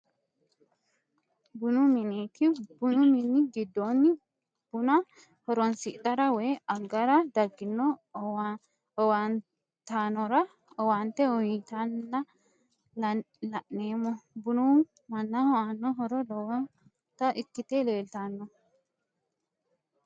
Bunu mineeti, bunu mini gidoonni buna horonsidhara woyi agara dagino owaatanorra owaante uyitanna la'neemo, bunu manaho aano horo lowota ikkite leelitanno